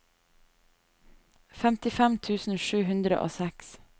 femtifem tusen sju hundre og seks